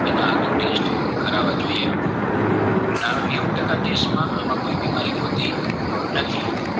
ને આગળ test કરવા જોયયે નેવું ટાકા કેશમાં આમ કોઈ બીમારી હોતી નથી